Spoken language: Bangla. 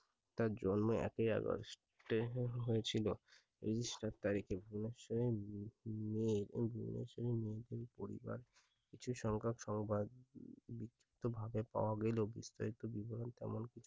তার জন্ম একই august এ হয়েছিল এই সাত তারিখে ধলেশ্বরী উম পরিবার কিছু সংখক সংবাদ বিক্ষিপ্ত ভাবে পাওয়া গেলেও বিস্তারিত বিবরণ তেমন কিছু